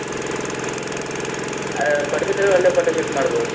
ಆ Padubidri ಒಳ್ಳೆ photo shoot ಮಾಡ್ಬೋದು.